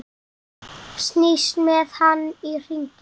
Snýst með hann í hringi.